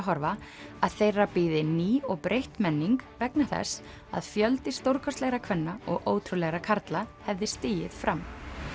horfa að þeirra bíði ný og breytt menning vegna þess að fjöldi stórkostlegra kvenna og ótrúlegra karla hefði stigið fram